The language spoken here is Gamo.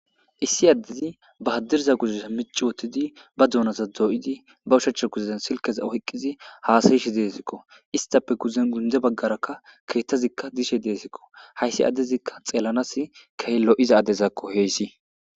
issi addezi ba haddirza guzusa mici wottidi ba duunasa doo7idi ba ushacha guzezen silkeza oyqqizi haasayishi deesikko istappe guzen gundze baggaraka keettazikka dishe deesikko hayssi addezikka xeellanas kehe lo7iza adezakko heeyssi